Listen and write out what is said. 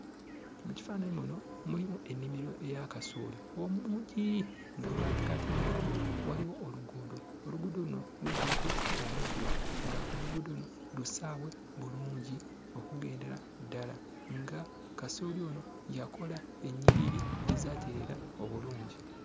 Mu kifaananyi muno, mulimu ennimiro eya kasooli omungi, nga mu makkati gaayo waliwo oluguudo, oluguudo luno lujjudde omuddo, ng'oluguudo luno lusaawe bulungi okugendera ddala, nga kasooli ono yakola ennyiriri ezaatereera obulungi.